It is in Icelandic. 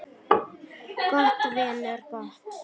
Gott, vinur, gott.